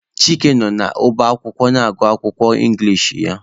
Chike nọ n'ọba akwụkwọ agụ akwụkwọ Ingilish ya.